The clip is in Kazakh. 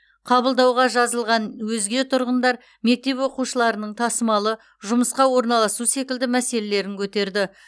қабылдауға жазылған өзге тұрғындар мектеп оқушыларының тасымалы жұмысқа орналасу секілді мәселелерін көтерді